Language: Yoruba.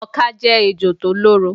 Ọká jé ejò tó lóró